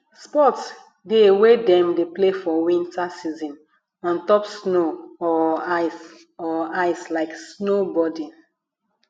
sport de wey dem de play for winter season on top snow or ice or ice like snowboarding